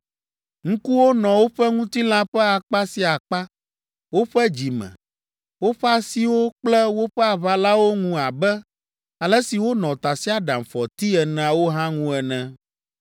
Ŋkuwo nɔ woƒe ŋutilã ƒe akpa sia akpa, woƒe dzime, woƒe asiwo kple woƒe aʋalawo ŋu abe ale si wonɔ tasiaɖamfɔti eneawo hã ŋu ene.